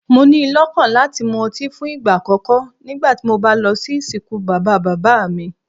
Mo ni lọ́kàn láti mu ọtí fún ìgbà àkókó nígbàtí mo bá lọ sí ìsìnkú bàbá-bàbá mi.